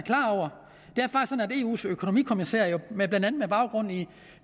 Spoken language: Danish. eus økonomikommissær